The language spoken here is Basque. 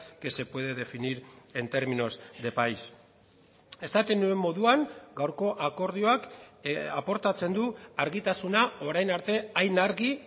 que se puede definir en términos de país esaten nuen moduan gaurko akordioak aportatzen du argitasuna orain arte hain argi